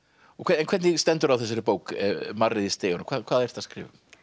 hvernig stendur á þessari bók marrið í stiganum hvað hvað ertu að skrifa um